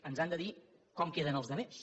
ens han de dir com queden els altres